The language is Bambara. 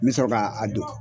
Mi sɔrɔ ka a don